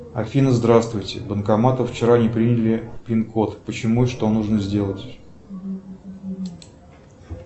афина здравствуйте банкоматы вчера не приняли пин код почему и что нужно сделать